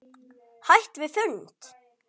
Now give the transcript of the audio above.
Hætt við fund?